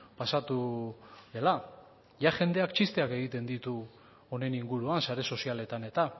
pasatu dela ja jendeak txisteak egiten ditu honen inguruan sare sozialetan eta